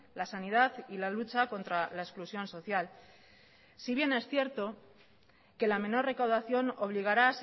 la sanidad y la lucha contra la exclusión social si bien es cierto que la menor recaudación obligará